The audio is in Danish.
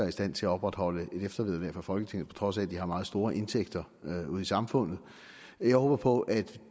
i stand til at opretholde et eftervederlag fra folketinget på trods af at de har meget store indtægter ude i samfundet jeg håber på at